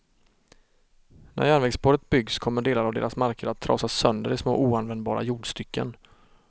När järnvägsspåret byggs kommer delar av deras marker att trasas sönder i små oanvändbara jordstycken.